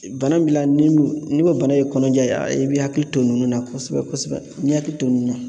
bana min b'i la ni m ni o bana ye kɔnɔja ye i b'i hakili to ninnu na kosɛbɛ-kosɛbɛ n'i hakili to ninnu na